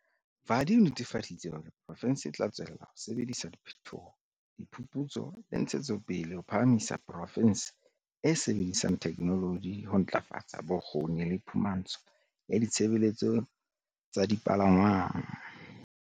Vadi o netefaditse hore poro fense e tla tswella ho sebedisa phethoho, diphuphutso le ntshetsopele ho phahamisa porofense e e sebedisang theke noloji ho ntlafatsa bokgoni le phumahantsho ya ditshebeletso tsa dipalangwang.